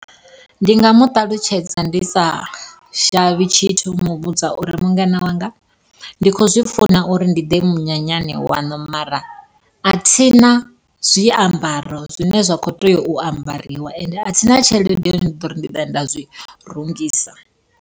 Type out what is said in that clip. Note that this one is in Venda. Ndi nga mu ṱalutshedza ndi sa shavhi tshithu u muvhudza uri mungana wanga, ndi kho zwi funa uri ndi ḓe munyanyani waṋu mara, athina zwiambaro zwine zwa kho tea u ambariwa ende athina tshelede ya u ḓori ndi ḓoya nda zwi rungisa.